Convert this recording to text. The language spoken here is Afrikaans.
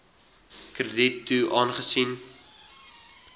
krediet toe aangesien